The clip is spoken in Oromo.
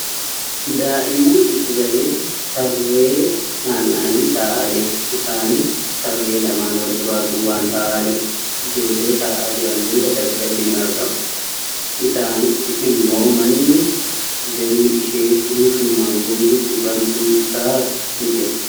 Daa'immaan gidduu galeessi tarree nammanii taa'aa jiru. Isanis tarree lamaan wal duraa duubaan taa'aa jiru. Ijoollee taa'aa jiran duuba daggalli nia argama. Isaanichi immoo manni jalli ishee guutumaan. guututti bantuu taate jira.